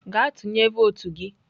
Gaa tụnye votu gị!